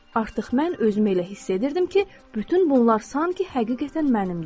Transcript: Artıq mən özümü elə hiss edirdim ki, bütün bunlar sanki həqiqətən mənimdir.